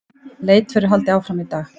Leit verður haldið áfram í dag